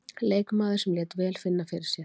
Leikmaður sem lét vel finna fyrir sér.